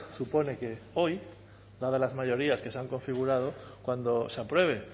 supone que hoy dadas las mayorías que se han configurado cuando se apruebe